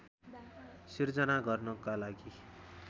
सिर्जना गर्नका लागि